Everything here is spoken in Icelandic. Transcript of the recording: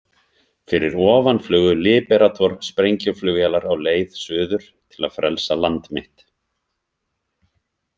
Fyrir ofan flugu Liberator- sprengjuflugvélar á leið suður til að frelsa land mitt.